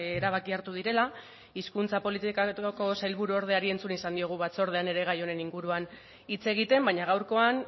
erabaki hartu direla hizkuntza politikako sailburuordeari entzun izan diogu batzordean ere gai honen inguruan hitz egiten baina gaurkoan